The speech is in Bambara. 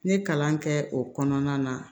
N ye kalan kɛ o kɔnɔna na